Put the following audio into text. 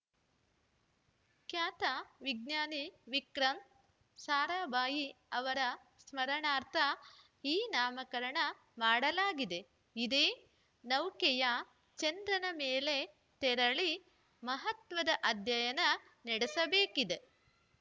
ಖ್ಯಾತ ವಿಜ್ಞಾನಿ ವಿಕ್ರಮ್‌ ಸಾರಾಭಾಯಿ ಅವರ ಸ್ಮರಣಾರ್ಥ ಈ ನಾಮಕರಣ ಮಾಡಲಾಗಿದೆ ಇದೇ ನೌಕೆಯು ಚಂದ್ರನ ಮೇಲೆ ತೆರಳಿ ಮಹತ್ವದ ಅಧ್ಯಯನ ನಡೆಸಬೇಕಿದೆ